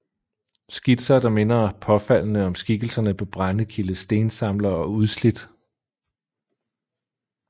Skitser der minder påfaldende om skikkelserne på Brendekildes Stensamlere og Udslidt